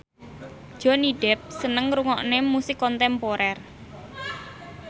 Johnny Depp seneng ngrungokne musik kontemporer